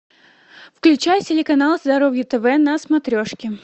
включай телеканал здоровье тв на смотрешке